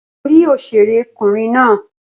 Ṣé orí òṣèré kùnrin náà?